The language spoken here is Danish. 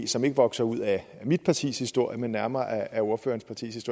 som ikke vokser ud af mit partis historie men nærmere af ordførerens partis